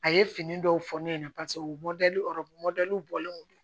A ye fini dɔw fɔ ne ɲɛna paseke u bɛ ɔrɔbu bɔlen don